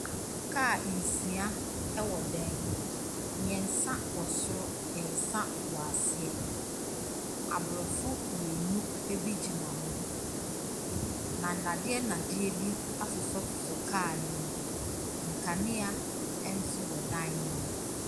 Kaa nsia wɔ dan mu. Mmeɛnsa wɔ soro, mmeɛnsa wɔ aseɛ. Aborɔfo mmienu bi gyina hɔ, na nnadeɛ nnadeɛ bi asosɔsosɔ kaa no mu. Nkanea nso wɔ dan no mu.